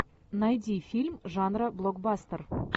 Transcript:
найди фильм жанра блокбастер